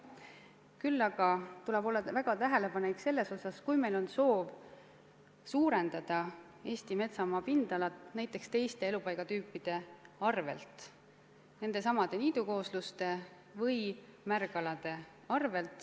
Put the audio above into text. Küll aga tuleb olla väga tähelepanelik selles osas, kui meil on soov suurendada Eesti metsamaa pindala teist tüüpi elupaigakade arvel, nendesamade niidukoosluste või märgalade arvel.